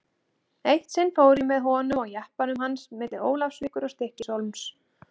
Eitt sinn fór ég með honum á jeppanum hans milli Ólafsvíkur og Stykkishólms.